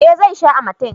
eh zai sha amatem